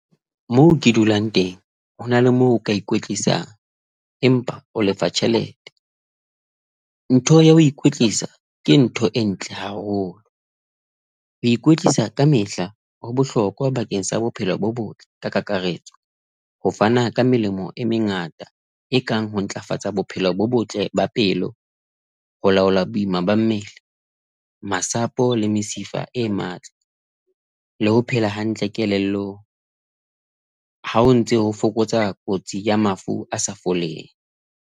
Moo ke dulang teng, hona le moo o ka ikwetlisa, empa o lefa tjhelete. Ntho ya ho ikwetlisa ke ntho e ntle haholo. Ho ikwetlisa kamehla ho bohlokwa bakeng sa bophelo bo botle ka kakaretso, ho fana ka melemo e mengata e kang ho ntlafatsa bophelo bo botle ba pelo, ho laola boima ba mmele, masapo le mesifa e matla le ho phela hantle kelellong ha o ntse ho fokotsa kotsi ya mafu a sa foleng.